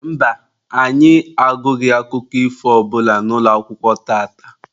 Mba, anyị agụghị akụkọ ifo ọ bụla n'ụlọakwụkwọ tata.